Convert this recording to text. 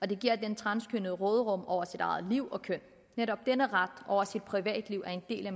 det giver den transkønnede råderum over sit eget liv og køn netop denne ret over sit privatliv er en del af